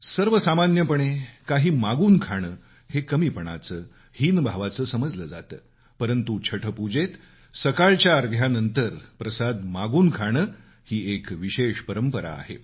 सर्वसामान्यपणे काही मागून खाणं हे कमीपणाचं हीन भावाचं समजलं जातं परंतु छठपुजेत सकाळच्या अर्ध्यानंतर प्रसाद मागून खाणं ही एक विशेष परंपरा आहे